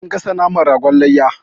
An gasa naman ragon layya.